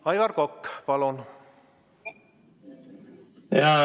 Aivar Kokk, palun!